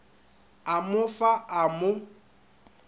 a mo fa a mo